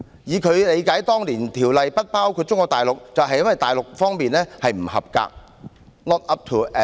以他理解當年《條例》不包括中國大陸，就是因為大陸在這些方面"不合格"。